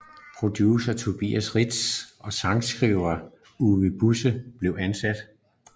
Producer Tobias Reitz og sangskriver Uwe Busse blev ansat